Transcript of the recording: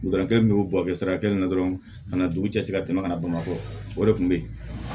Dɔgɔtɔrɔ min y'o bɔ kɛ sira kelen na dɔrɔn ka na dugu cɛ ka tɛmɛ kana bamakɔ o de kun be yen